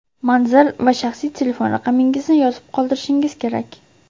manzil va shaxsiy telefon raqamingizni yozib qoldirishingiz kerak.